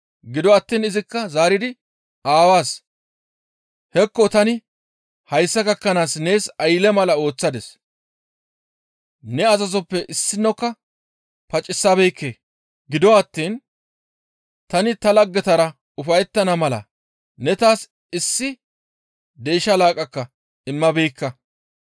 Gido attiin izikka zaaridi aawaas, ‹Hekko tani hayssa gakkanaas nees aylle mala ooththadis; ne azazoppe issinokka pacisabeekke; gido attiin tani ta laggetara ufayettana mala ne taas issi deysha laaqqaka immabeekka.